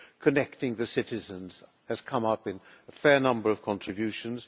Connecting the citizens has come up in a fair number of contributions.